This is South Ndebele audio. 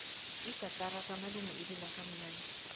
igatara kamalume ilila kamnandi